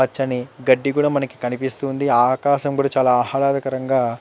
పచ్చని గడ్డి కూడా మనకు కనిపిస్తుంది. ఆకాశం కూడా చాలా ఆహ్లాదకరంగా --